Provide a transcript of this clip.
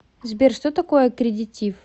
сбер что такое аккредитив